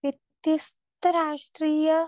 speaker 2 വ്യത്യസ്ഥ രാഷ്ട്രീയ